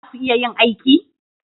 Za ku iya yin aiki?